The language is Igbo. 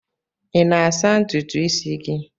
I na-asa ntutu isi gị?